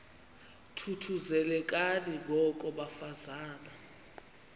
thuthuzelekani ngoko bafazana